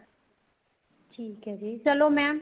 ਠੀਕ ਹੈ ਜੀ ਚਲੋ mam